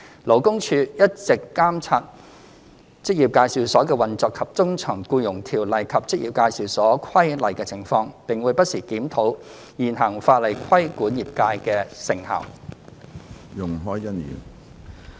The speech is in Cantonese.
勞工處一直監察職業介紹所的運作及遵從《僱傭條例》和《職業介紹所規例》的情況，並會不時檢討現行法例規管業界的成效。